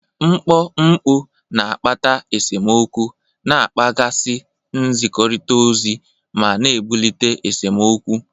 Mkpọ mkpu na-akpata esemokwu, na-akpaghasị nzikọrịta ozi, ma na-ebulite esemokwu.